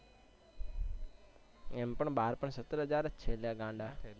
એમ પણ બાર પણ સત્તર હજાર સત્તર હજાર પણ છેને ગાંડા